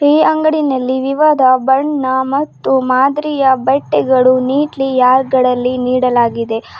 ಈ ಅಂಗಡಿನಲ್ಲಿ ವಿವಧ ಬಣ್ಣ ಮತ್ತು ಮಾದ್ರಿಯ ಬಟ್ಟೆಗಳು ನೀಟ್ಲಿ ರ್ಯಾಕ್ ಗಳಲ್ಲಿ ನೀಡಲಾಗಿದೆ.